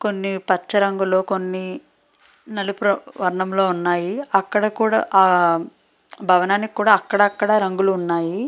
కొన్ని పచ్చ రంగులు కొన్ని నలుపు వర్ణంలో ఉన్నాయి. అక్కడ కూడా ఆ ఆ భవనానికి అక్కడక్కడ రంగులు ఉన్నాయి.